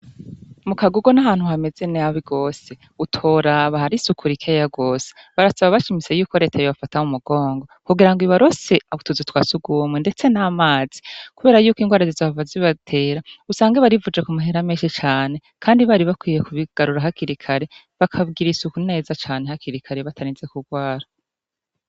Mu kagugo n'ahantu hamezeneabi wose utoraba har i sukura ikeya wose barasaba bashimise yuko retayo bafata mu mugongo kugira ngo ibibarose abutuzu twasuguwomwe, ndetse n'amazi, kubera yuko ingwarajiza abavazi ibatera usange barivuje ku mahera menshi cane, kandi bari bakwiye kubigarura hakirikare bakabwira isuku neza cane hakirikare batanize kurwara.